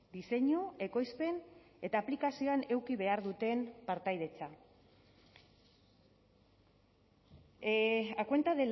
diseinu ekoizpen eta aplikazioan eduki behar duten partaidetza a cuenta